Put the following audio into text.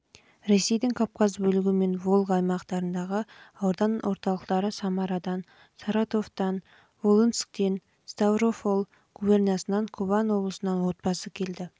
ресейдің кавказ бөлігі мен волга аймақтарындағы аудан орталықтары самарадан саратовтан волынскден ставрополь губерниясынан кубань облысынан отбасы келіп